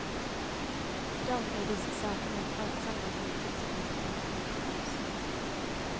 Dom i disse sakene falt sammen med tidspunkt for konferansen.